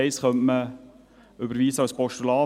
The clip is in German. Der Punkt 1 könnte als Postulat überwiesen werden.